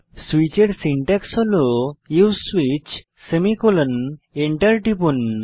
সুইচের সিনট্যাক্স হল উসে সুইচ সেমিকোলন এন্টার টিপুন